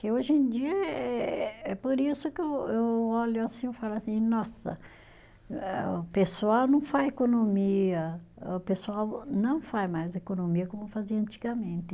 Porque hoje em dia é é, é por isso que eu eu olho assim eu falo assim, nossa, o pessoal não faz economia, o pessoal não faz mais economia como fazia antigamente.